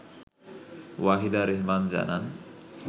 ওয়াহিদা রেহমান জানান